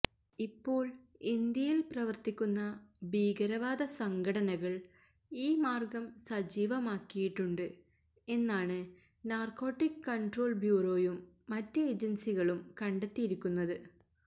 ഇപ്പോൾ ഇന്ത്യയിൽ പ്രവർത്തിക്കുന്ന ഭീകരവാദ സംഘടനകൾ ഈ മാർഗം സജീവമാക്കിയിട്ടുണ്ട് എന്നാണ് നാർക്കോട്ടിക് കൺട്രോൾ ബ്യൂറോയും മറ്റ് ഏജൻസികളും കണ്ടെത്തിയിരിക്കുന്നത്